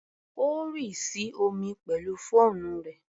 Ó rì sí omi pẹ̀lú fóònù rẹ̀.